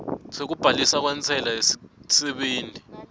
sekubhaliswa kwentsela yesisebenti